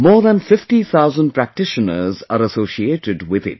More than 50 thousand practitioners are associated with it